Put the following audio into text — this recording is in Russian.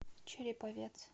череповец